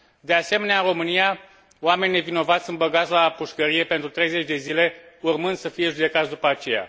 De asemenea, în România, oameni nevinovați sunt băgați la pușcărie pentru 30 de zile, urmând să fie judecați după aceea.